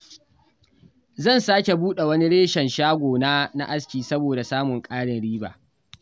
Zan sake buɗe wani reshen na shagon askina don samun ƙarin riba